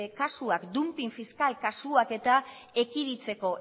edo kasuak dumping fiskal kausa eta